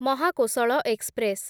Mahakoshal express